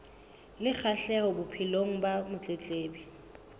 le kgahleho bophelong ba motletlebi